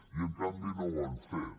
i en canvi no ho han fet